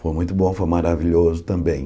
Foi muito bom, foi maravilhoso também.